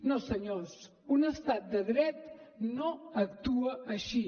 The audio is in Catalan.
no senyors un estat de dret no actua així